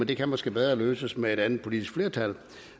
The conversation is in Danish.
det kan måske bedre løses med et andet politisk flertal